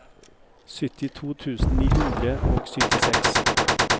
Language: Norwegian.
syttito tusen ni hundre og syttiseks